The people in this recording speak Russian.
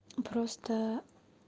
просто